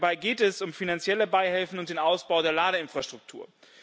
Dabei geht es um finanzielle Beihilfen und den Ausbau der Ladeinfrastruktur.